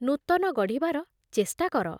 ନୂତନ ଗଢ଼ିବାର ଚେଷ୍ଟା କର ।